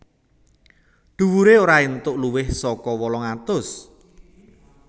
Dhuwuré ora entuk luwih saka wolung atus